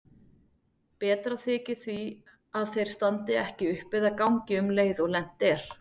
Betra þykir því að þeir standi ekki upp eða gangi um leið og lent er.